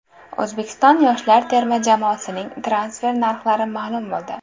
O‘zbekiston yoshlar terma jamoasining transfer narxlari ma’lum bo‘ldi.